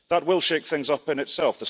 That will shake things up in itself.